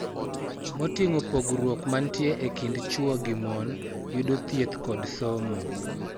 Moting'o pogruok mantie e kind chwo gi mon, yudo thieth kod somo,